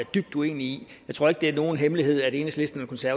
dybt uenig i jeg tror ikke det er nogen hemmelighed at enhedslisten